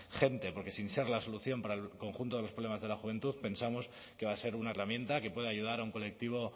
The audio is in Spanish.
gente porque sin ser la solución para el conjunto de los problemas de la juventud pensamos que va a ser una herramienta que puede ayudar a un colectivo